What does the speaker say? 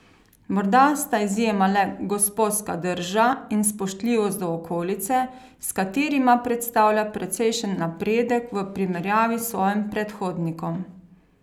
Morda sta izjema le gosposka drža in spoštljivost do okolice, s katerima predstavlja precejšen napredek v primerjavi s svojim predhodnikom.